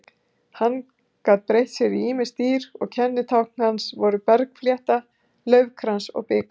Hann gat breytt sér í ýmis dýr og kennitákn hans voru bergflétta, laufkrans og bikar.